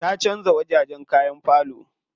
Ta canza wajajen kayan falo.